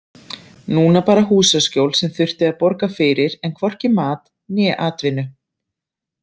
Núna bara húsaskjól sem þurfti að borga fyrir en hvorki mat né atvinnu.